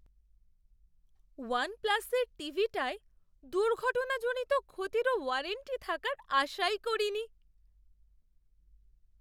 One প্লাসের টিভিটায় দুর্ঘটনাজনিত ক্ষতিরও ওয়ারেন্টি থাকার আশাই করিনি!